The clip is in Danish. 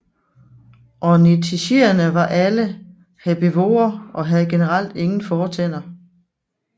Ornithischierne var alle herbivore og havde generelt ingen fortænder